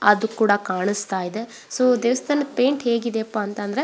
ಅದು ಕೂಡ ಕಾಣಿಸ್ತದೆ. ಸೊ ದೇವಸ್ಥಾನದ ಪೈಂಟ್ ಹೇಗಿದೆಯಪ್ಪಾ ಅಂತ ಅಂದ್ರೆ --